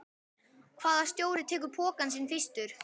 Hvaða stjóri tekur pokann sinn fyrstur?